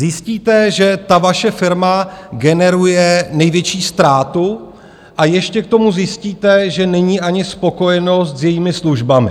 Zjistíte, že ta vaše firma generuje největší ztrátu, a ještě k tomu zjistíte, že není ani spokojenost s jejími službami.